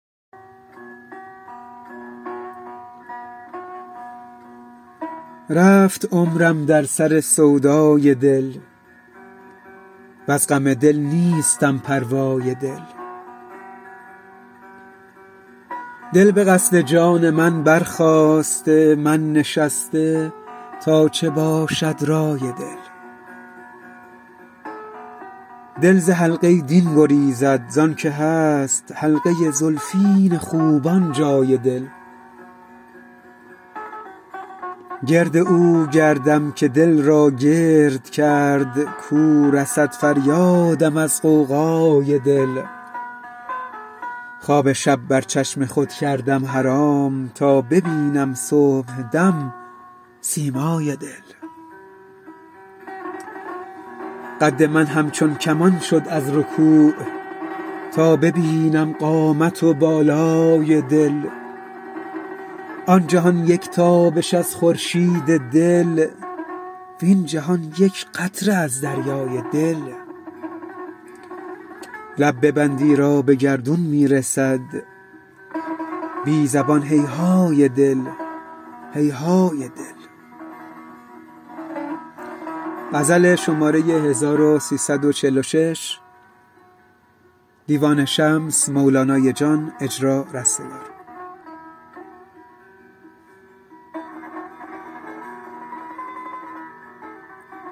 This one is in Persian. رفت عمرم در سر سودای دل وز غم دل نیستم پروای دل دل به قصد جان من برخاسته من نشسته تا چه باشد رای دل دل ز حلقه دین گریزد زانک هست حلقه زلفین خوبان جای دل گرد او گردم که دل را گرد کرد کو رسد فریادم از غوغای دل خواب شب بر چشم خود کردم حرام تا ببینم صبحدم سیمای دل قد من همچون کمان شد از رکوع تا ببینم قامت و بالای دل آن جهان یک تابش از خورشید دل وین جهان یک قطره از دریای دل لب ببند ایرا به گردون می رسد بی زبان هیهای دل هیهای دل